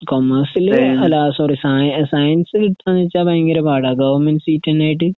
കൊമേഴ്സില് അല്ലാസോറി സയസയൻസ്‌കിട്ടുവാന്നുവെച്ചാ ഭയങ്കരപാടാ. ഗവണ്മെന്റ്സീറ്റിനായിട്ട്